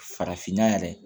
Farafinna yɛrɛ